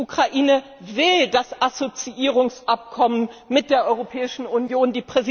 Die Ukraine will das Assoziierungsabkommen mit der Europäischen Union.